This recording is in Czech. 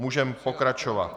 Můžeme pokračovat.